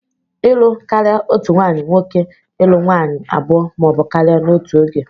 Ịlụ karịa otu nwanyị nwoke ịlụ nwaanyị abụọ ma ọ bụ karịa n'otu oge.